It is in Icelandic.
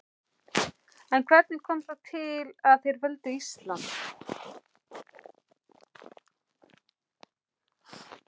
En hvernig kom það til að þeir völdu Ísland?